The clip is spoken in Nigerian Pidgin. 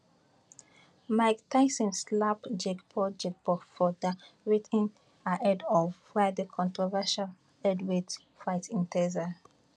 mike tyson slap jake paul jake paul for dia weighin ahead of friday controversial heavyweight fight in texas